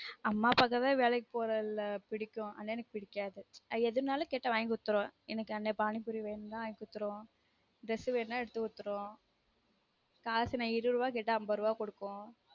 அம்மா அப்பா க்கு தான் வேலைக்கு போறது புடிக்கும் அண்ணனுக்கு புடிக்காது நான் எதுனாலும் கேட்டா வாங்கி குடுத்துரும் எனக்கு அந்த பானி பூரி வேணும்னா வாங்கி குடுத்துரும் dress வேணும்னா எடுத்து குடுத்துரும் காசு நான் இருபது ரூபா கேட்டா ஐம்பது ரூபா குடுக்கும்